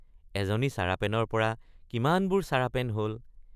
এজনী চাৰাপেনৰ পৰা কিমানবোৰ চাৰাপেন হল।